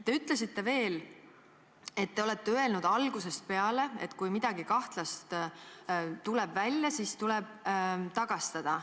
Te ütlesite veel, et te olete öelnud algusest peale, et kui midagi kahtlast tuleb välja, siis tuleb raha tagastada.